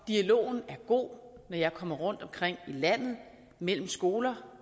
dialogen er god når jeg kommer rundtomkring i landet mellem skoler